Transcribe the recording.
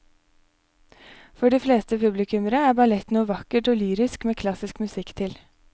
For de fleste publikummere er ballett noe vakkert og lyrisk med klassisk musikk til.